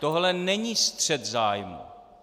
Tohle není střet zájmů.